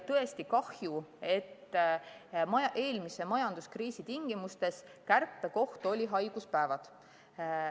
Tõesti kahju, et eelmise majanduskriisi tingimustes oli kärpekoht just haiguspäevad.